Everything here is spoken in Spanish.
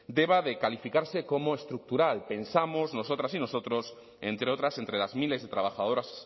deba de calificarse como estructural pensamos nosotras y nosotros entre otras entre las miles de trabajadoras